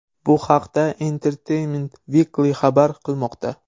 Bu haqda Entertainment Weekly xabar qilmoqda .